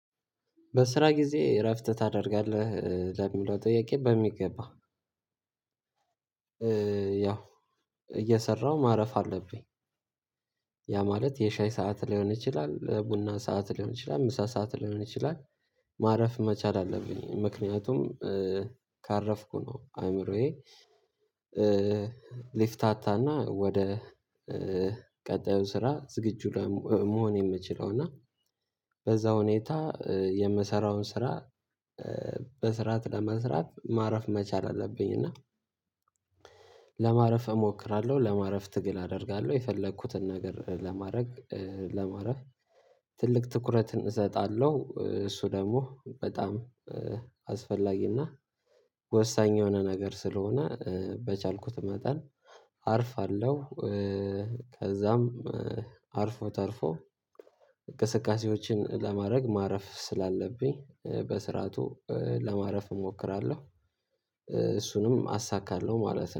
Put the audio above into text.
በስራ ጊዜ እረፍት ታደርጋለህ? ለሚለው ጥያቄ በሚገባ ያው እየሰራሁ ማረፍ አለብኝ። ያ ማለት የሻይ ሰዓት ሊሆን ይችላል ቡና ሰዓት ሊሆን ይችላል ምሳ ሰዓት ሊሆን ይችላል። ማረፍ መቻል አለብኝ ምክንያቱም ካረፍኩ ነው አእምሮዬ ሊፍታታና ወደ ቀጣዩን ስራ ዝግጁ መሆን የምችለው እና በዛ ሁኔታ የምሰራውን ስራ በስርዓት ለመስራት ማረፍ መቻል አለብኝ። እና ለማረፍ እሞክራለሁ ለማረፍ ትግል አደርጋለሁ የፈለኩትን ነገር ለማረግ ለማረፍ ትልቅ ትኩረትን እሰጣለሁ። እሱ ደግሞ በጣም አስፈላጊና ወሳኝ የሆነ ነገር ስለሆነ በቻልኩት መጠን አርፋለሁ። ከዛም አርፎ ተርፎ እቅስቃሴዎችን ለማረግ ማረፍ ስላለብኝ በስርዓቱ ለማረፍ እሞክራለሁ እሱንም አሳካለሁ ማለት ነው